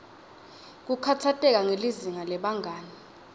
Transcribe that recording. kukhatsateka ngelizinga lebangani